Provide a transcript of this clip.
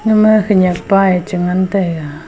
agama khenek pa a chi ngan taiga.